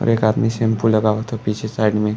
और एक आदमी शैम्पू लगावता पीछे साइड में।